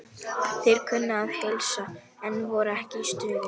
Þeir kunnu að heilsa, en voru ekki í stuði.